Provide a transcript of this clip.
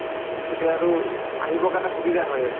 তেতিয়া আৰু আহিব কাৰণে সুবিধা হয় আৰু